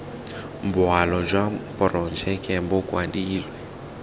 boalo jwa porojeke bo kwadilwe